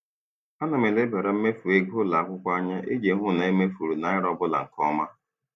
Ana m elebara mmefu ego ụlọakwụkwọ anya iji hụ na e mefuru naira ọbụla nke ọma.